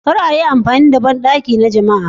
Kar a yi amfani da bandaki na jama'a.